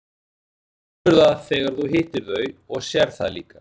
Þú finnur það þegar þú hittir þau og sérð það líka.